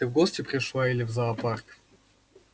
ты в гости пришла или в зоопарк